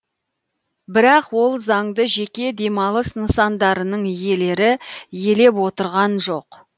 бірақ ол заңды жеке демалыс нысандарының иелері елеп отырған жоқ